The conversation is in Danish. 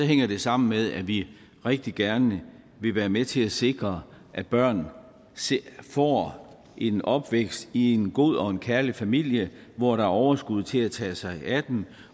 hænger det sammen med at vi rigtig gerne vil være med til at sikre at børn får en opvækst i en god og kærlig familie hvor der er overskud til at tage sig af dem